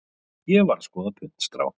Ég var að skoða puntstrá.